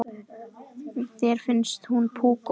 Þér finnst hún púkó.